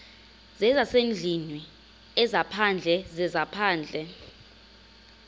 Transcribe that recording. zezasendlwini ezaphandle zezaphandle